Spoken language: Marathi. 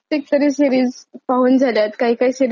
काही काही सिरीज आवडल्यावर रिपीट पण पाहते.